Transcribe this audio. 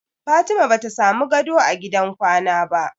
Fatima bata samu gado a gidan kwana ba.